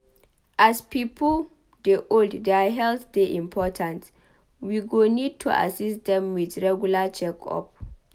As pipo dey old their health dey important we go need to assist dem with regular check-up